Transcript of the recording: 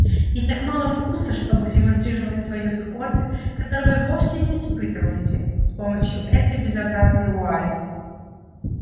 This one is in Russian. и так мало вкуса чтобы демонстрировать свою скорбь которой вы вовсе не испытываете с помощью этой безобразной вуали